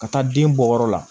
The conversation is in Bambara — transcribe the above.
Ka taa den bɔyɔrɔ la